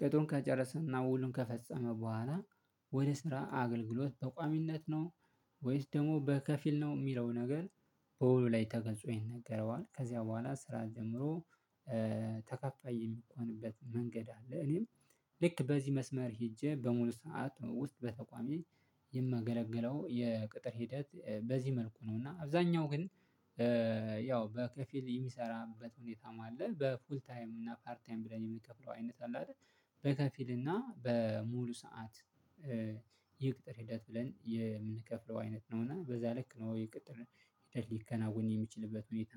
ቅጥሩን ከጨረሰና ውሉን ከፈጸመ በኋላ ወደ ስራ አገልግሎት በቋሚነት ነው ወይስ ደግሞ በከፊል ነው እሚለው ነገር በውሉ ላይ ተገልጾ ይነገረዋል። ከዚያ በኋላ ስራ ጀምሮ። ተከፋይ የሚሆንበት መንገድ አለ። እኔም ልክ በዚህ መስመር ሄጄ በሙሉ ሰዓት ውስጥ በተቋሜ የማገለገለው የቅጥር ሂደት በዚህ መልኩ ነው። እና አብዛኛው ግን ያው በከፊል የሚሰራበት ሁኔታም አለ። በፉል ታይም እና ፓርት ታይም ብለን የምንከፍለው አይነት አለ አይደል? በከፊል እና በሙሉ ሰዓት የቅጥር ሂደት ብለን የምንከፍለው አይነት ነው። እና በዛ ልክ ነው የቅጥር ሂደት ሊከናወን የሚችልበት ሁኔታ